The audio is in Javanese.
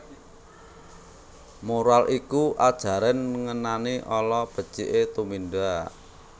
Moral iku ajaran ngenani ala beciké tumindak